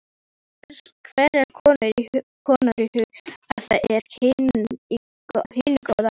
Hvers konar íhugun er af hinu góða.